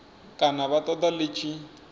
kana vha ṱoḓa ḽi tshi